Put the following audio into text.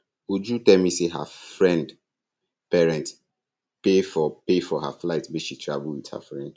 uju tell me say her friend parent pay for pay for her flight make she travel with her friend